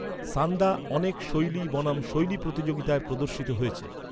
সান্দা অনেক শৈলী বনাম শৈলী প্রতিযোগিতায় প্রদর্শিত হয়েছে।